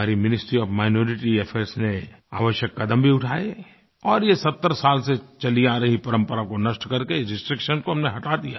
हमारी ministry of minority affairs ने आवश्यक कदम भी उठाए और ये सत्तर70 साल से चली आ रही परंपरा को नष्ट कर के इस रिस्ट्रिक्शन को हमने हटा दिया